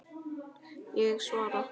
Ég svara.